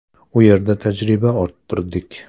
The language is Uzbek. U yerda tajriba orttirdik.